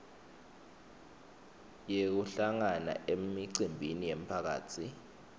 yekuhlangana emicimbini yemphakatsi